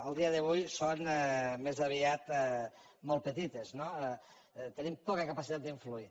a dia d’avui són més aviat molt petites no tenim poca capacitat d’influir